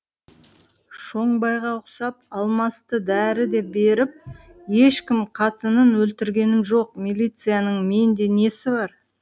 шоңбайға ұқсап алмасты дәрі деп беріп ешкім қатынын өлтіргенім жоқ милицияның менде несі бар